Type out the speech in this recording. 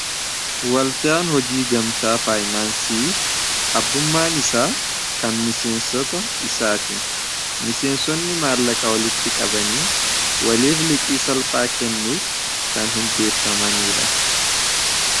waldaan hojii gamtaa faayinaansii abbummaan isaa kan miseensota isaati miseensotni maallaqa walitti qabanii waliif liqii salphaa kennuuf kan hundeeffamanii dha